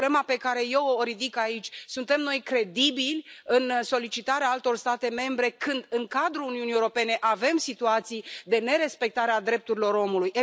Problema pe care eu o ridic aici, suntem noi credibili în solicitarea altor state membre, când în cadrul Uniunii Europene avem situații de nerespectare a drepturilor omului?